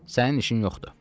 Sənin işin yoxdur.